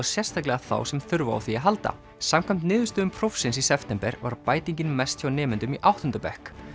sérstaklega þá sem þurfa á því að halda samkvæmt niðurstöðum prófsins í september var bætingin mest hjá nemendum í áttunda bekk